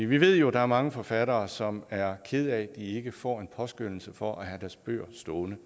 vi ved jo at der er mange forfattere som er kede af at de ikke får en påskønnelse for at have deres bøger stående